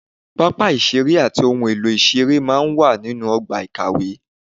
Pápá ìṣeré àti ohun èlò ìṣeré máa ń wà nínú ọgbà ìkàwé